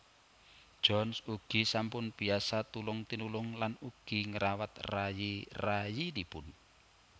Johns ugi sampun biasa tulung tinulung lan ugi ngrawat rayi rayinipun